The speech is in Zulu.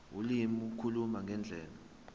ulimi ukukhuluma ngendlela